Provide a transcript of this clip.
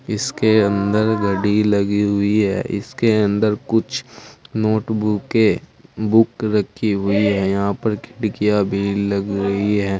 इसके अंदर घड़ी लगी हुई है इसके अंदर कुछ नोटबुक के बुक रखी हुई है यहां पे खिड़कियां भी लगी हुई है।